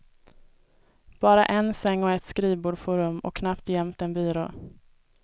Bara en säng och ett skrivbord får rum och knappt och jämt en byrå.